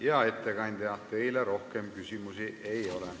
Hea ettekandja, teile rohkem küsimusi ei ole.